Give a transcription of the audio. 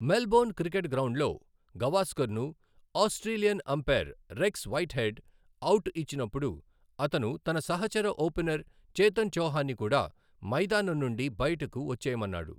Melbourne cricket గ్రౌండ్లో, గవాస్కర్ను Australian umpire Rex Whitehead out ఇచ్చినప్పుడు, అతను తన సహచర ఓపెనర్ చేతన్ చౌహాన్ని కూడా మైదానం నుండి బయటకు వచ్చేయమన్నాడు.